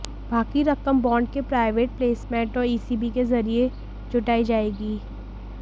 बाकी रकम बॉन्ड के प्राइवेट प्लसेमेंट और ईसीबी के जरिये जुटाई जाएगी